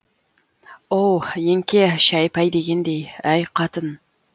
оу еңке шәй пәй дегендей әй қатын